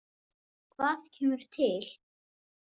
Hvað kemur til?